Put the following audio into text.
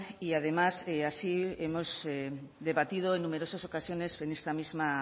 y además así hemos debatido en numerosas ocasiones en esta misma